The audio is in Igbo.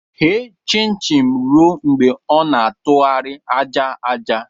Ghe chin-chin ruo mgbe ọ na-atụgharị aja aja!